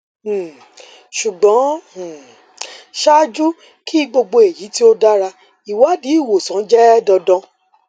um ṣugbọn um ṣaaju ki gbogbo eyi ti o dara iwadi iwosan jẹ dandan